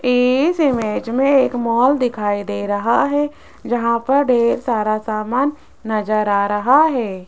इस इमेज में एक मॉल दिखाई दे रहा है जहां पर ढेर सारा सामान नजर आ रहा है।